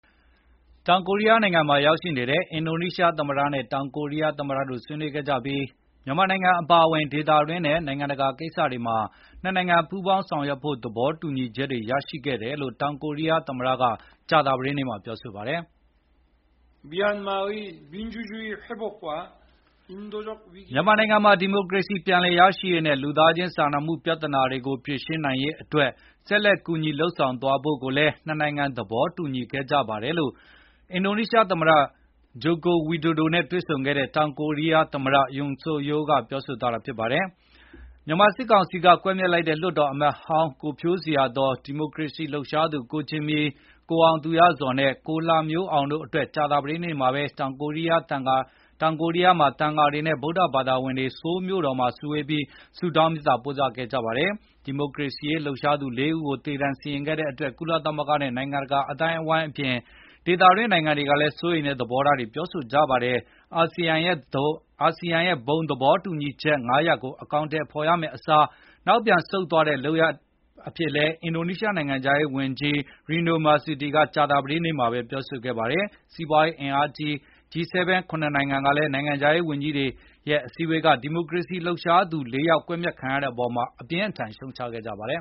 တောင်ကိုရီးယားနိုင်ငံမှာ ရောက်ရှိနေတဲ့ အင်ဒိုနီးရှားသမ္မတနဲ့ တောင်ကိုရီးယားသမ္မတတို့ ဆွေးနွေးခဲ့ကြပြီး မြန်မာနိုင်ငံ အပါအဝင် ဒေသတွင်းနဲ့ နိုင်ငံတကာ ကိစ္စတွေမှာ နှစ်နိုင်ငံ ပူးပေါင်းဆောင်ရွက်ဖို့ သဘောတူညီချက်တွေ ရရှိခဲ့တယ်လို့ တောင်ကိုရီးယား သမ္မတက ကြာသပတေးနေ့မှာ ပြောဆိုပါတယ်။ “မြန်မာနိုင်ငံမှာ ဒီမိုကရေစီ ပြန်လည်ရရှိရေးနဲ့ လူသားချင်း စာနာမှု ပြဿနာတွေကို ဖြေရှင်း နိုင်ရေး အတွက် ဆက်လက်ကူညီ လုပ်ဆောင်သွားဖို့ကိုလည်း နှစ်နိုင်ငံ သဘောတူညီခဲ့ကြပါတယ်” လို့ အင်ဒိုနီးရှားသမ္မတ Joko Widodo နဲ့ တွေ့ဆုံခဲ့တဲ့ တောင်ကိုရီးယားသမ္မတ Yoon Seok-youl ကပြောဆိုသွားတာပါ။ မြန်မာစစ်ကောင်စီက ကွပ်မျက်လိုက်တဲ့ လွှတ်တော်အမတ်ဟောင်း ကိုဖြိုးဇေယျာသော်၊ ဒီမိုကရေစီရေး လှုပ်ရှားသူ ကိုဂျင်မီ၊ ကိုအောင်သူရဇော်နဲ့ ကိုလှမျိုးအောင်တို့အတွက် ကြာသပတေးနေ့မှာပဲ တောင်ကိုရီးယား သံဃာတွေနဲ့ ဗုဒ္ဓဘာသာဝင်တွေ ဆိုးလ်မြို့တော်မှာ စုဝေးပြီး ဆုတောင်းမေတ္တာ ပို့သခဲ့ကြပါတယ်။ ဒီမိုကရေစီရေး လှုပ်ရှားသူ ၄ ဦးကို သေ ဒဏ်စီရင်ခဲ့တဲ့အတွက် ကုလသမဂ္ဂနဲ့ နိုင်ငံတကာ အသိုင်းအဝိုင်းအပြင် ဒေသတွင်း နိုင်ငံတွေကလည်း စိုးရိမ်တဲ့ သဘောထားတွေ ပြောဆိုနေကြတာပါ။ ASEAN ရဲ့ ဘုံသဘောတူညီချက် ၅ ရပ်ကို အကောင်အထည် ဖော်ရမယ့်အစား နောက်ပြန်ဆုတ်တဲ့ လုပ်ရပ်အဖြစ်နဲ့လည်း အင်ဒိုနီးရှားနိုင်ငံခြားရေးဝန်ကြီး Retno Marsudi ကကြာသပတေး နေ့မှာပဲပြောဆိုခဲ့ပါတယ်။ စီးပွားရေး အင်အားကြီး ၇ နိုင်ငံ G-7 နိုင်ငံခြားရေးဝန်ကြီးတွေကလည်း ဒီမိုကရေစီရေး လှုပ်ရှားသူ ၄ ယောက် ကွပ်မျက်ခံရတဲ့အပေါ် အပြင်းအထန် ရှုတ်ချခဲ့ကြပါတယ်